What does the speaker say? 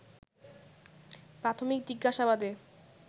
প্রাথমিক জিজ্ঞাসাবাদে